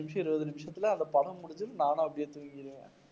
பத்து நிமிஷம், இருபது நிமிஷத்துல அந்த படம் முடிஞ்சுடும் நானும் அப்படியே தூங்கிடுவேன்